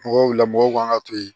Mɔgɔw wulila mɔgɔw kan ka to yen